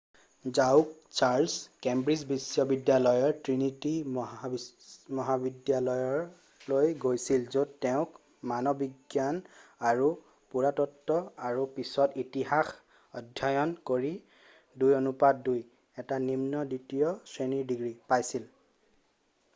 যাহওক Charles Cambridge বিশ্ববিদ্যালয়ৰ Trinity মহাবিদ্যালয়লৈ গৈছিল য'ত তেওঁ মানৱবিজ্ঞান আৰু পুৰাতত্ব আৰু পিছত ইতিহাস অধ্যয়ন কৰি 2:2 এটা নিম্ন দ্বিতীয় শ্ৰেণীৰ ডিগ্ৰী পাইছিল।